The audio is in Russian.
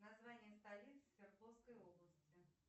название столицы свердловской области